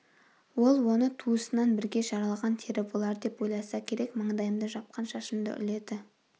ол оны туысынан бірге жаралған тері болар деп ойласа керек маңдайымды жапқан шашымды үрледі